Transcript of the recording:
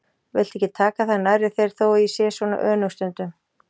Viltu ekki taka það nærri þér þó að ég sé svona önug stundum.